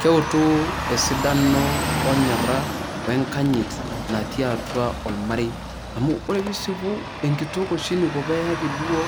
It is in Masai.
Keutu esidano, o nyora we nkanyit natii atua ormarei, amu ore piisipu enkitok oshi eniko peyaki duo